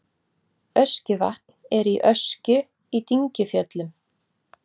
Öskjuvatn er í Öskju í Dyngjufjöllum.